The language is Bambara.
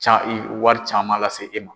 Ca wari caman lase e ma.